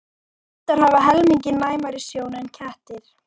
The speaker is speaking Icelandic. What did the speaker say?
hundar hafa helmingi næmari sjón en kettir